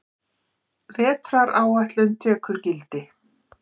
Vetraráætlun tekur gildi